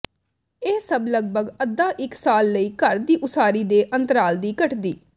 ਇਹ ਸਭ ਲਗਭਗ ਅੱਧਾ ਇੱਕ ਸਾਲ ਲਈ ਘਰ ਦੀ ਉਸਾਰੀ ਦੇ ਅੰਤਰਾਲ ਦੀ ਘਟਦੀ